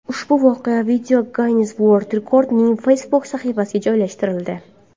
Ushbu voqea Video Guinnes World Records’ning Facebook sahifasiga joylashtirildi .